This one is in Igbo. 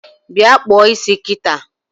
Bịa kpụọ isia kịta!